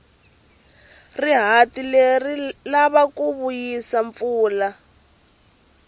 rihati leri ri lava ku vuyisa mpfula